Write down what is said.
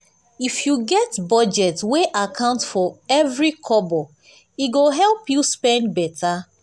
if you get budget wey account for every kobo e go help you spend better.